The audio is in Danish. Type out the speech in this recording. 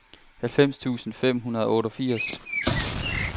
halvfems tusind fem hundrede og otteogfirs